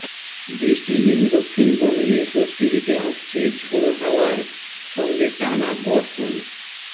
বৃষ্টিহীন দক্ষিণবঙ্গে স্বস্তি দিতে আসছে ঝোড়ো হাওয়ার সঙ্গে টানা বর্ষণ